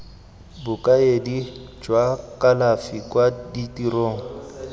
bokaedi jwa kalafi kwa tirong